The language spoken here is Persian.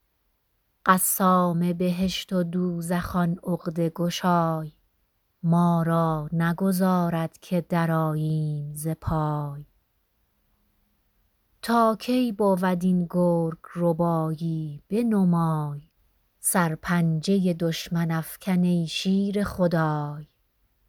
قسام بهشت و دوزخ آن عقده گشای ما را نگذارد که درآییم ز پای تا کی بود این گرگ ربایی بنمای سرپنجه دشمن افکن ای شیر خدای